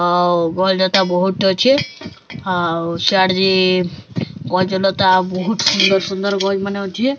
ଆଉ ଭଲ ତ ବୋହୁତ୍ ଅଛେ ଆଉ ସ୍ୟାଡେ ଗଜ ଲତା ବୋହୁତ୍ ସୁନ୍ଦର୍ ସୁନ୍ଦର୍ ଗଜ୍ ମାନେ ଅଛେ।